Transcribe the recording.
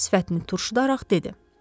Sifətini turşudaraq dedi.